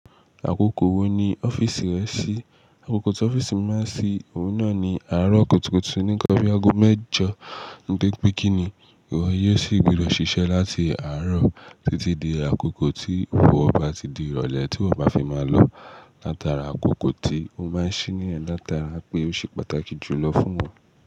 Àkókò wo ni ọ́fíìsì rẹ ṣí? Àkókò tí ọ́fíìsì mi máa ń ṣí, òun náà ni àárọ̀ kùtùkùtù ní nnkan bí ago mẹ́jọ. Gbé pé kí ni ìwọ yóò sì gbúdọ̀ ṣiṣẹ́ láti àárọ̀ títí di àkókò tí ìfọwọ́ ba ti di ìrọ̀lẹ́ tí wọ́ bá fi máa lọ látara àkókò tí ó máa ń ṣí nìyẹn látara pé ó ṣe pàtàkì jù lọ fún wọn.